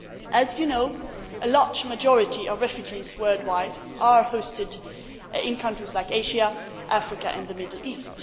As you know, a large majority of refugees worldwide are hosted in countries in Asia, Africa and the Middle East.